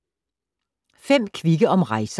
5 kvikke om rejser